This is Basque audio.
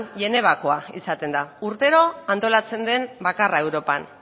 genevakoa izaten da urtero antolatzen den bakarra europan